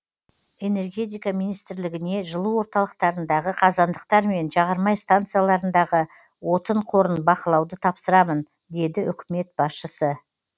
энергетика министрлігіне жылу орталықтарындағы қазандықтар мен жағармай станциялардағы отын қорын бақылауды тапсырамын деді үкімет басшысы